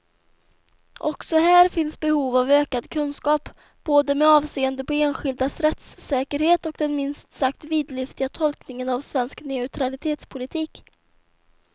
Också här finns behov av ökad kunskap, både med avseende på enskildas rättssäkerhet och den minst sagt vidlyftiga tolkningen av svensk neutralitetspolitik.